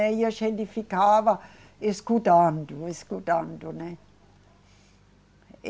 E a gente ficava escutando, escutando, né.